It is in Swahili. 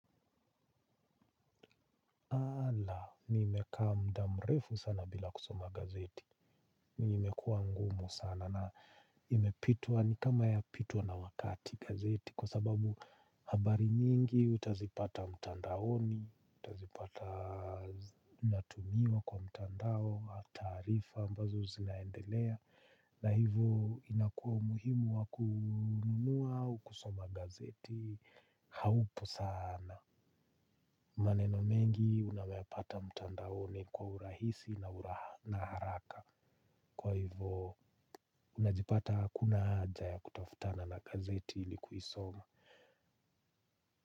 Ala, nimeeka mda mrefu sana bila kusoma gazeti. Na imekuwa ngumu sana na imepitwa ni kama yapitwa na wakati gazeti. Kwa sababu habari nyingi utazipata mtandaoni, utazipata natumiwa kwa mtandao, au taarifa ambazo zinaendelea. Na hivo inakuwa umuhimu wa kununua au kusoma gazeti haupo sana. Maneno mengi unayapata mtandaoni kwa urahisi na haraka. Kwa hivo unajipata hakuna haja ya kutaftana na gazeti ili kuisoma.